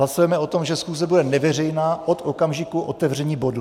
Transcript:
Hlasujeme o tom, že schůze bude neveřejná od okamžiku otevření bodu.